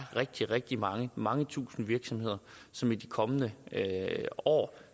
rigtig rigtig mange mange tusinde virksomheder som i de kommende år